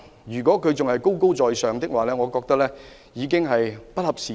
如果政府仍採取高高在上的態度，我認為已經不合時宜。